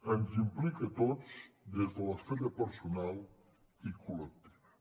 ens implica a tots des de l’esfera personal i col·lectiva